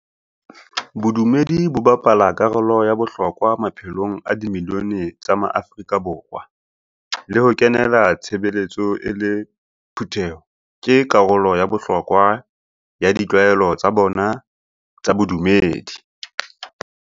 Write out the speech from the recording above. Bodumedi bo bapala karolo ya bohlokwa maphelong a di milione tsa maAfrika Borwa, le ho kenela tshebeletso e le phutheho ke ka karolo ya bohlokwa ya ditlwaelo tsa bona tsa bodumedi.